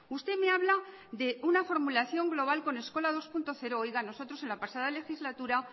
usted me habla de una formulación global con eskola dos punto cero nosotros en la pasada legislatura